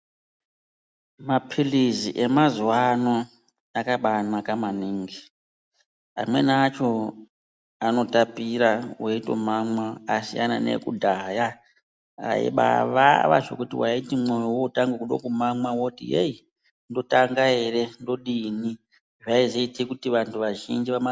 Maphilizi emazuvano akabaanaka maningi amweni acho anotapira weitomamwa asiyana neekudhaya aibaavava zvekuti waiti mwoyo wootange kuda kumamwa woti heyi, ndotanga ere, ndodini. Zvaizoite kuti vantu vazhinji vama...